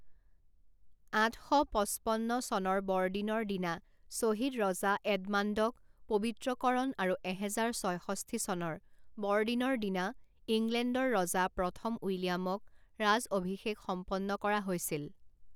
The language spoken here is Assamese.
আঠ শ পঁচপন্ন চনৰ বৰদিনৰ দিনা শ্বহীদ ৰজা এডমাণ্ডক পবিত্ৰকৰণ আৰু এহেজাৰ ছয়ষষ্ঠি চনৰ বৰদিনৰ দিনা ইংলেণ্ডৰ ৰজা প্ৰথম উইলিয়ামক ৰাজঅভিষেক সম্পন্ন কৰা হৈছিল।